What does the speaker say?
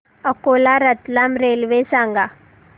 Akola Ratlam railway सांगा